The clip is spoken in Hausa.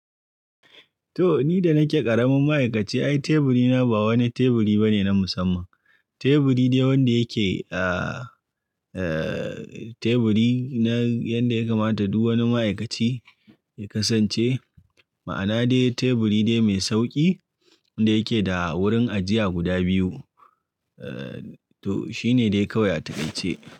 To, ni da nake ƙaramin ma'aikaci, ai teburi na ba wani teburi ba ne na musamman. Teburi dai wanda yake a, a teburi na yadda ya kamata duk wani ma'aikaci ya kasance. Ma'ana dai teburi dai mai sauƙi wanda yake da wurin ajiya guda biyu. To, shi ne dai kawai a takaice.